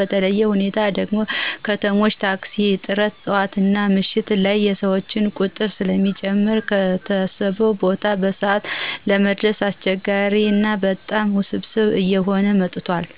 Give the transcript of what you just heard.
በተለየ ሁኔታ ደግሞ የከተሞች ታክሲ እጥረት ጠዋትና ምሽት ላይ የሰዎች ቁጥር ስለሚጨምር ከታሰበው ቦታ በሰዓት ለመድረስ አስቸጋሪ ና በጣም ውስብስብ እየሆነ መጥቷል።